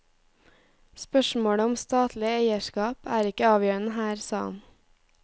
Spørsmålet om statlig eierskap er ikke avgjørende her, sa han.